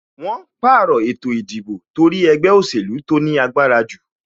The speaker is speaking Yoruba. Wọn pàrọ̀ ètò ìdìbò torí ẹgbẹ́ òsèlú tó ní agbára jù